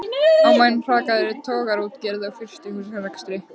Á meðan hrakaði togaraútgerð og frystihúsarekstri.